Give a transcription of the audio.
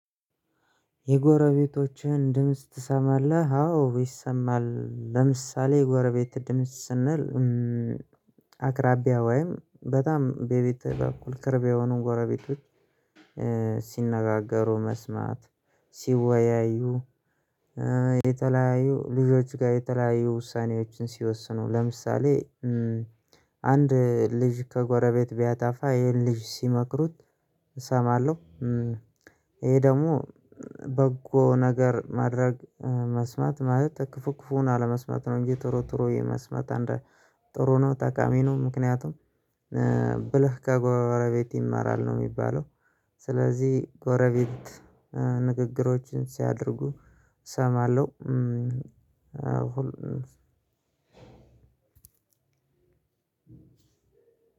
የጎረቤቶችህን ድምጽ ትሰማለህ? አዎ ይሰማል ለምሳሌ የጎረቤት ድምጽ ስንል አቅራቢያ ወይም በጣም በቤት በኩል ቅርብ የሆኑ ጎረቤቶች ሲነጋገሩ መስማት። ሲወያዩ የተለያዩ ልጆች ጋር የተለያዩ ውሳኔዎችን ሲወስኑ ለምሳሌ አንድ ልጅ ከጎረቤት ቢያጣፋ ይሄን ልጅ ሲመክሩት እሰማለሁ። ይሄ ደግሞ በጎ ነገር ማድረግ መስማት ማለት ክፉክፉን አለመስማት ነው እንጂ ጥሩ ጥሩ የመስማት አንድ ጥሩ ነው ጠቃሚ ነው። ምክንያቱም ብለህ ከጎረቤት ይማራል ነው የሚባለው ስለዚህ ጎረቤት ንግግሮችን ሲያደርጉ እሰማለሁ። አሁን